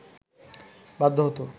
বাধ্য হতো